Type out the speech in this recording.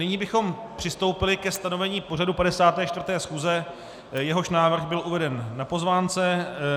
Nyní bychom přistoupili ke stanovení pořadu 54. schůze, jehož návrh byl uveden na pozvánce.